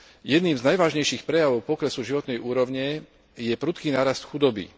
Jedným z najvážnejších prejavov poklesu životnej úrovne je prudký nárast chudoby.